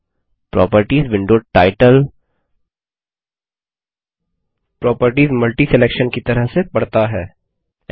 अब properties window title properties multiselection की तरह से पढता है